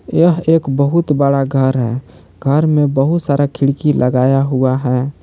यह एक बहुत बड़ा घर है घर में बहुत सारा खिड़की लगाया हुआ है।